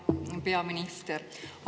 Hea peaminister!